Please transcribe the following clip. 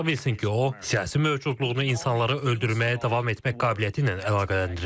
Ola bilsin ki, o, siyasi mövcudluğunu insanları öldürməyə davam etmək qabiliyyəti ilə əlaqələndirir.